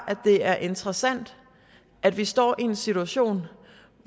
det er interessant at vi står i en situation